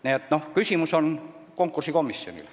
Nii et see küsimus on konkursikomisjonile.